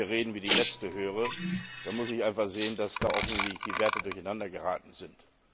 Wenn ich solche Reden wie die letzte höre, dann muss ich einfach sehen, dass da offensichtlich die Werte durcheinandergeraten sind.